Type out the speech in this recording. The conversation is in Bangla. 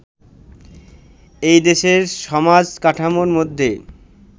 এই দেশের সমাজ-কাঠামোর মধ্যে